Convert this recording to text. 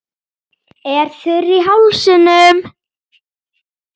Er þurr í hálsinum.